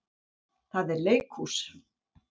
Það er leikhús.